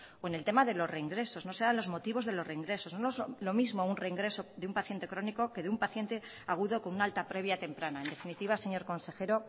o en el tema de los reingresos no se dan los motivos de los reingresos no es lo mismo un reingreso de un paciente crónico que de un paciente agudo con un alta previa temprana en definitiva señor consejero